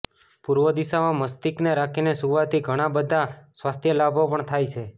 પૂર્વદિશામાં મસ્તિષ્કને રાખીને સુવાથી ઘણા બધા સ્વાસ્થ્ય લાભો પણ થાય છે